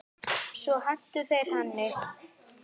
Svo hentu þeir henni.